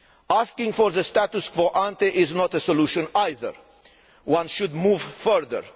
Asking for the status quo ante is not a solution either one should move further.